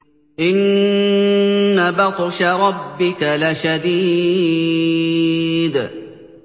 إِنَّ بَطْشَ رَبِّكَ لَشَدِيدٌ